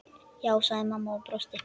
Já, sagði mamma og brosti.